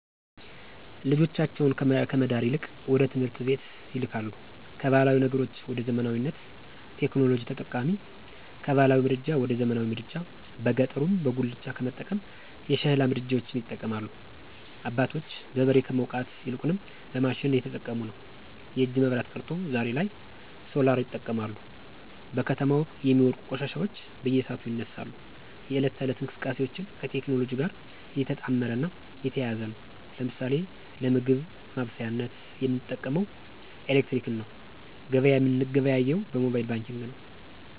ልጆቻቸውን ከመዳር ይልቅወደትምህርት ይልካሉ ካባህላዊ ነገሮች ወደዘመናዊነት፣ ቴክኖሎጂ ተጠቃሚ፣ ከባህላዊ ምድጃ ወደዘመናዊ ምድጃ በገጠሩበጉላቻ ከመጠቀም የሸሕላ ምድጃዎች ይጠቀማሉ። አባቶች በበሬ ከመዉቃት ይልቁንም በማሽን እየተጠቀሙነዉ። የእጅ መብራት ቀርቶ ዛሬሶላርይጠቀማሉ። በከተማው የሚወድቁ ቆሻሻዎች በየሰዓቱ ይነሳሉ፣ የህለት ተህለት እንቅስቃሴአችን ከቴክኖሎጅእ ጋር የተጣመረ እና የተያያዘ ነዉ። ለምሳሌ ለምግብ ማበሳሳያነት የምንጠቀመዉምኤሌክትረመክነዉ ገበያ የምንገበያየዉ በሞባየል ባንኪግ ነዉ።